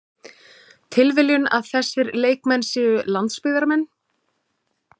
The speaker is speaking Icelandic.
Tilviljun að þessir leikmenn séu landsbyggðarmenn?